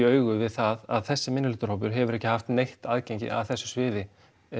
augu við það að þessi minnihlutahópur hefur ekki haft neitt aðgengi að þessu sviði